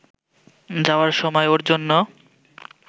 যাওয়ার সময় ওর জন্য